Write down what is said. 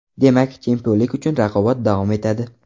Demak, chempionlik uchun raqobat davom etadi.